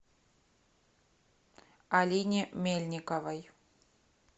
алине мельниковой